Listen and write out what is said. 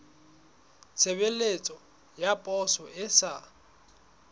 tshebeletso ya poso e sa